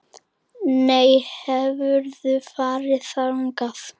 Nú, hefurðu farið þangað?